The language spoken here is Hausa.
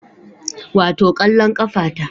Wato kwallon kafa ta